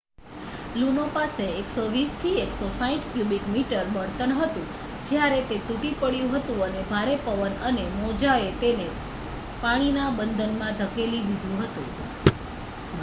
લુનો પાસે 120-160 cubic metre બળતણ હતું જ્યારે તે તૂટી પડ્યું હતું અને ભારે પવન અને મોજાએ તેને પાણીના બંધમાં ધકેલી દીધું હતું